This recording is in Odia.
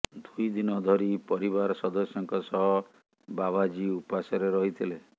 ଦୁଇଦିନ ଧରି ପରିବାର ସଦସ୍ୟଙ୍କ ସହ ବାବାଜି ଉପାସରେ ରହିଥିଲେ